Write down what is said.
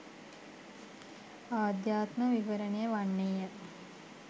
අධ්‍යාත්ම විවරණය වන්නේ ය.